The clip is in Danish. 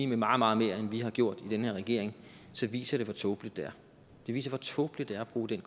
meget meget mere end vi har gjort i den her regering så viser det hvor tåbeligt det er det viser hvor tåbeligt det er at bruge den